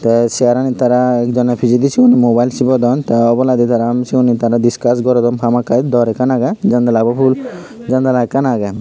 tey cheyaranit tara ekjoney pichedi siyun mobile sibodon tey obladi tara um siyuney tara discuss gorodon hamakkai dor ekkan agey janalabo ful janala ekkan agey.